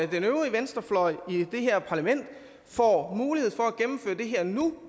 den øvrige venstrefløj i det her parlament får mulighed for at gennemføre det her nu